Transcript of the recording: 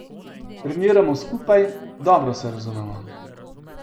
Treniramo skupaj, dobro se razumemo.